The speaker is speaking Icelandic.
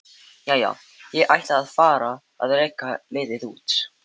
Jæja, ég ætla að fara að reka liðið út.